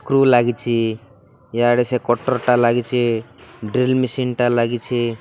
କୃ ଲାଗିଛି ଇଆଡ଼େ ସେ କଟର ଟା ଲାଗିଚି ଡ୍ରିଲ ମିସିନ ଟା ଲାଗିଛି।